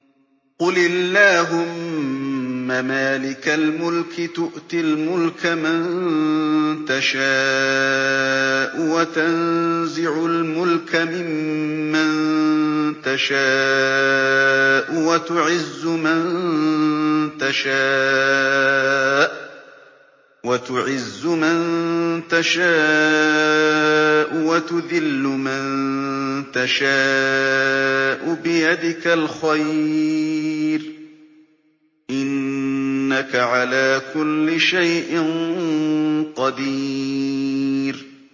قُلِ اللَّهُمَّ مَالِكَ الْمُلْكِ تُؤْتِي الْمُلْكَ مَن تَشَاءُ وَتَنزِعُ الْمُلْكَ مِمَّن تَشَاءُ وَتُعِزُّ مَن تَشَاءُ وَتُذِلُّ مَن تَشَاءُ ۖ بِيَدِكَ الْخَيْرُ ۖ إِنَّكَ عَلَىٰ كُلِّ شَيْءٍ قَدِيرٌ